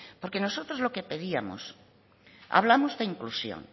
porque nosotros lo que pedíamos hablamos de inclusión